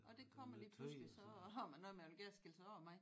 Ja og det kommer lige pludselig så har man noget man vil gerne skille sig af med